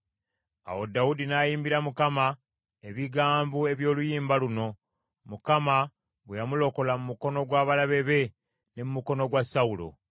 Awo Dawudi n’ayimbira Mukama ebigambo eby’oluyimba luno, Mukama bwe yamulokola mu mukono gw’abalabe be ne mu mukono gwa Sawulo.